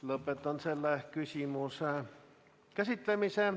Lõpetan selle küsimuse käsitlemise.